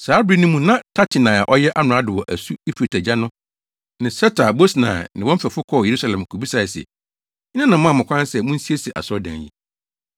Saa bere no mu na Tatenai a ɔyɛ amrado wɔ asu Eufrate agya no ne Setar-Bosnai ne wɔn mfɛfo kɔɔ Yerusalem kobisae se, “Hena na ɔmaa mo kwan sɛ munsiesie asɔredan yi?”